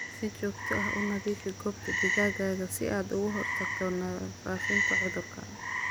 Si joogto ah u nadiifi goobta digaaga si aad uga hortagto faafitaanka cudurka.